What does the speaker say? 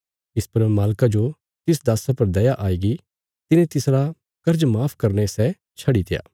इस पर मालका जो तिस दास्सा पर दया आईगी तिने तिसरा कर्जा माफ करीने सै छडित्या